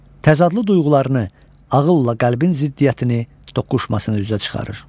Təzadlı duyğularını, ağılla qəlbin ziddiyyətini, toqquşmasını üzə çıxarır.